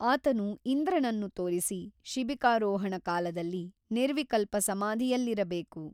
ಆತನು ಇಂದ್ರನನ್ನು ತೋರಿಸಿ ಶಿಬಿಕಾರೋಹಣ ಕಾಲದಲ್ಲಿ ನಿರ್ವಿಕಲ್ಪ ಸಮಾಧಿಯಲ್ಲಿರಬೇಕು.